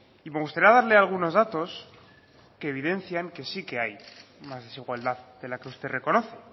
y me gustará darle algunos datos que evidencian que sí que hay más desigualdad de la que usted reconoce